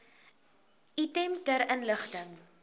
item ter inligting